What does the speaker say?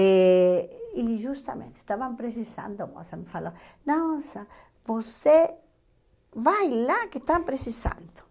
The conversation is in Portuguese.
E, e justamente, estavam precisando, a moça me falou, nossa, você vai lá que estão precisando.